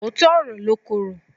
Òótọ́ ọ̀rọ̀ ló korò.